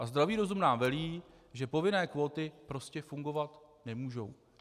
A zdravý rozum nám velí, že povinné kvóty prostě fungovat nemůžou.